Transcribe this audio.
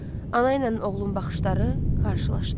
Ana ilə oğlun baxışları qarşılaşdı.